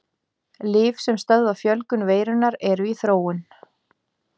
Lyf sem stöðva fjölgun veirunnar eru í þróun.